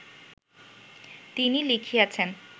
তিনি লিখিয়াছেন